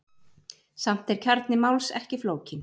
Samt er kjarni máls ekki flókinn.